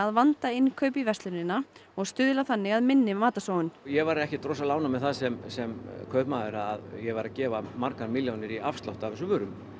vanda innkaup í verslunina og stuðla þannig að minni matarsóun ég væri ekkert rosalega ánægður með það sem sem kaupmaður að ég væri að gefa margar milljónir í afslátt af þessum vörum